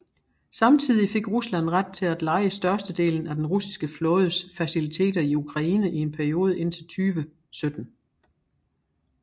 Samtidig fik Rusland ret til at leje størstedelen af den russiske flådes faciliteter i Ukraine i en periode indtil 2017